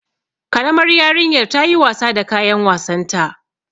Karamar yarinyar ta yi wasa da kayan wasanta.